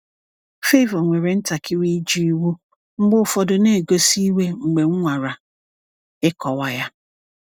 Favour nwere ntakịrị ịjụ iwu, mgbe ụfọdụ na-egosi iwe mgbe m nwara ịkọwa ya.